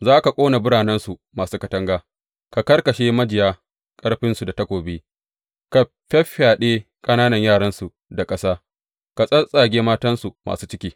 Za ka ƙona biranensu masu katanga, ka karkashe majiya ƙarfinsu da takobi, ka fyaffyaɗe ƙananan yaransu da ƙasa, ka tsattsage matansu masu ciki.